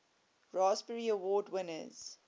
raspberry award winners